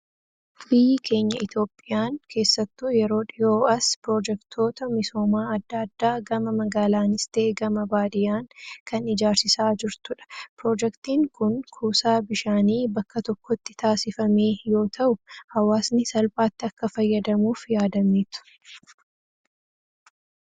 Biyyi keenya Itoophiyaan keessattuu yeroo dhihoo as piroojektoota misoomaa addaa addaa gama magaalaanis ta'ee gama baadiyyaan kan ijaarsisaa jirtudha. Piroojektiin Kun, kuusaa bishaanii bakka tokkotti taasifamee yoo ta'u, hawwaasni salphaatti akka fayyadamuuf yaadameetu.